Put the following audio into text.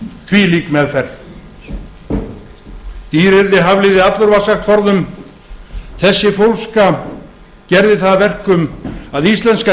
þvílík meðferð dýr yrði hafliði allur var sagt forðum þessi fólska gerði það að verkum að íslenska